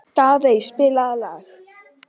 Daðey, spilaðu lag.